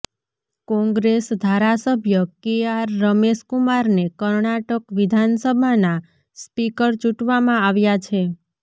કોંગ્રેસ ધારાસભ્ય કેઆર રમેશ કુમારને કર્ણાટક વિધાનસભાના સ્પીકર ચૂંટવામાં આવ્યા છે